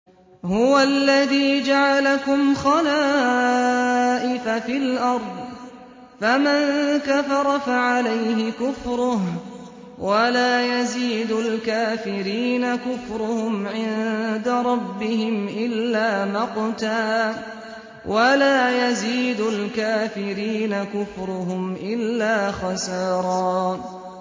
هُوَ الَّذِي جَعَلَكُمْ خَلَائِفَ فِي الْأَرْضِ ۚ فَمَن كَفَرَ فَعَلَيْهِ كُفْرُهُ ۖ وَلَا يَزِيدُ الْكَافِرِينَ كُفْرُهُمْ عِندَ رَبِّهِمْ إِلَّا مَقْتًا ۖ وَلَا يَزِيدُ الْكَافِرِينَ كُفْرُهُمْ إِلَّا خَسَارًا